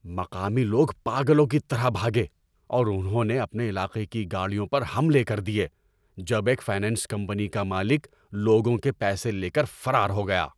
مقامی لوگ پاگلوں کی طرح بھاگے اور انہوں نے اپنے علاقے کی گاڑیوں پر حملے کر دیے جب ‏ایک فنانس کمپنی کا مالک لوگوں کے پیسے لے کر فرار ہو گیا۔